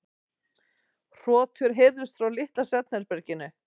Hrotur heyrðust frá litla svefnherberginu.